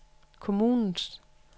kommunens